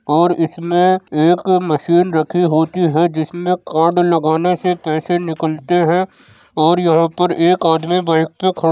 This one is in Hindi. और इसमें एक मशीन रखी होती है जिसमें कार्ड लगाने से पैसे निकलते हैं और यहाँ पर एक आदमी बाइक पे --